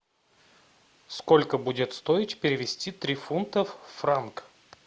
сколько будет стоить перевести три фунтов в франк